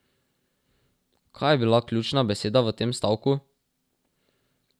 Kaj je bila ključna beseda v tem stavku?